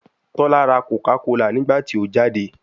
Tola ra Coca Cola nigbati o jade